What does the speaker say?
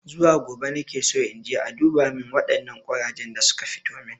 Zuwa gobe nakeso inje a duba min waɗannan ƙurajen da suka fitomin